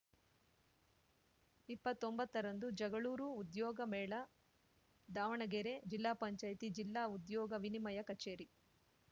ಇಪ್ಪತ್ತೊಂಬತ್ತ ರಂದು ಜಗಳೂರು ಉದ್ಯೋಗ ಮೇಳ ದಾವಣಗೆರೆ ಜಿಲ್ಲಾ ಪಂಚಾಯತಿ ಜಿಲ್ಲಾ ಉದ್ಯೋಗ ವಿನಿಮಯ ಕಚೇರಿ